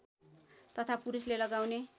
तथा पुरूषले लगाउने